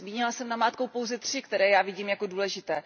Zmínila jsem namátkou pouze tři, které já vidím jako důležité.